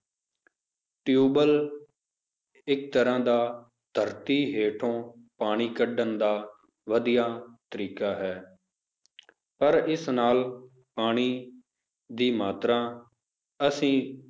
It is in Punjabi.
ਟਿਊਬਵੈਲ ਇੱਕ ਤਰ੍ਹਾਂ ਦਾ ਧਰਤੀ ਹੇਠੋਂ ਪਾਣੀ ਕੱਢਣ ਦਾ ਵਧੀਆ ਤਰੀਕਾ ਹੈ ਪਰ ਇਸ ਨਾਲ ਪਾਣੀ ਦੀ ਮਾਤਰਾ ਅਸੀਂ